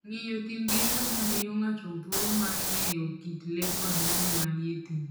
Ng'iyo thim gi ngamia miyo ng'ato thuolo mar ng'eyo kit le kod yiende manie thim.